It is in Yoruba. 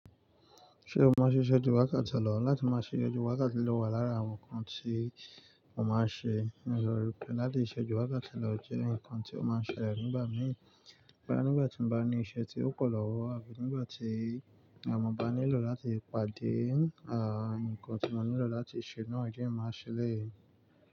Ṣé o máa ṣe ìṣẹ́jú wákàtí lọ́ọ̀? Láti máa ṣe ìṣẹ́jú wákàtí lọ́ọ̀ wà lára àwọn nǹkan tí mo máa ṣe. Ní ọrọ̀ ìpẹ́, láti ìṣèju wakáti lọ̀ jẹ́ nǹkan tí ó máa ṣẹlẹ̀ nígbà mìíràn. Rárá, nígbà tí mo bá ní iṣẹ́ tí ó pọ̀ lọ́wọ́ àbí nígbà tí àwọn ọmọ bá nílò láti pàdé, àn, nǹkan tí mo nílò láti ṣe náà jẹ́ màá ṣe ẹlẹ̀yi.